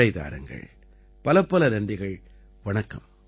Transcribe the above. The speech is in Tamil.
விடை தாருங்கள் பலப்பல நன்றிகள் வணக்கம்